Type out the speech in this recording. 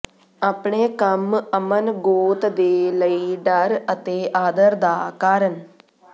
ਆਪਣੇ ਕੰਮ ਅਮਨ ਗੋਤ ਦੇ ਲਈ ਡਰ ਅਤੇ ਆਦਰ ਦਾ ਕਾਰਨ